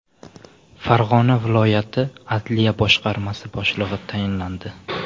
Farg‘ona viloyat adliya boshqarmasi boshlig‘i tayinlandi.